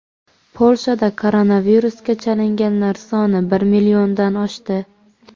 Polshada koronavirusga chalinganlar soni bir milliondan oshdi.